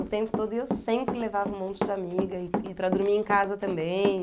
O tempo todo e eu sempre levava um monte de amiga e para dormir em casa também.